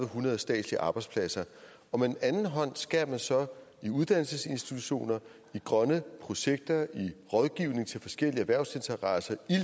hundrede statslige arbejdspladser og med den anden hånd skærer man så i uddannelsesinstitutioner i grønne projekter i rådgivning til forskellige erhvervsinteresser